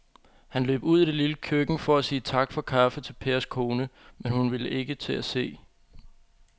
Han løb ud i det lille køkken for at sige tak for kaffe til Pers kone, men hun var ikke til at se.